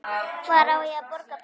Hver á að borga brúsann?